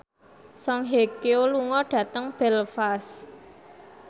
Song Hye Kyo lunga dhateng Belfast